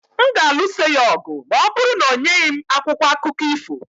M ga-alụso ya ọgụ ma ọ bụrụ na o nyeghị m akwụkwọ akụkọ ifo